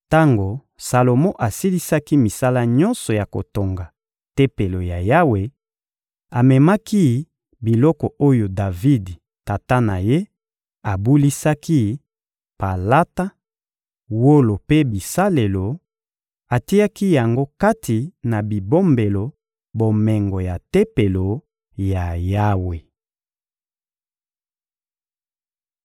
Tango Salomo asilisaki misala nyonso ya kotonga Tempelo ya Yawe, amemaki biloko oyo Davidi, tata na ye, abulisaki: palata, wolo mpe bisalelo; atiaki yango kati na bibombelo bomengo ya Tempelo ya Yawe.